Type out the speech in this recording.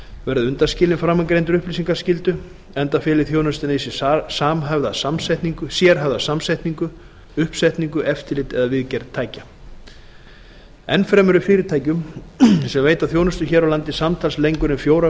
verði undanskilin framangreindri upplýsingaskyldu enda feli þjónustan í sér sérhæfða samsetningu uppsetningu eftirlit eða viðgerð tækja enn fremur er fyrirtækjum sem veita þjónustu hér á landi samtals lengur en fjórar